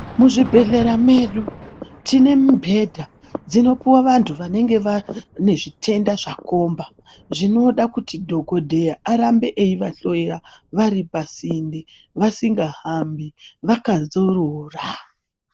Muzvibhedhlera medu tine mibhedha dzinopuwa vantu vanenge vane zvitenda zvakomba zvinoda kuti dhogobheya arambe eivahloya, vari pasinde, vasinga hambi ,vakadzorora.